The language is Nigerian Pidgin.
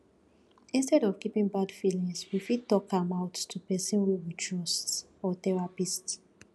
instead of keeping bad feelings we fit talk am out to person wey we trust or therapist